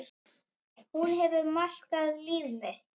Hún hefur markað líf mitt.